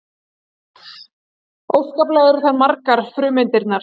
Og óskaplega eru þær margar frumeindirnar.